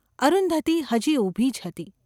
અરુંધતી હજી ઊભી જ હતી.